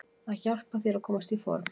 Það hjálpar þér að komast í form.